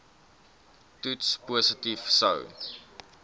toets positief sou